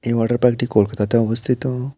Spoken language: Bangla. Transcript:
এই ওয়াটার পার্ক -টি কলকাতাতে অবস্থিত।